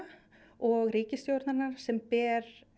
og ríkisstjórnarinnar sem ber